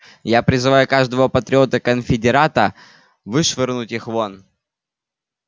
я призываю каждого патриота-конфедерата вышвырнуть их вон